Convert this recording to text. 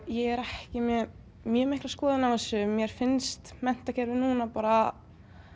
ég er ekki með mjög mikla skoðun á þessu mér finnst menntakerfið núna bara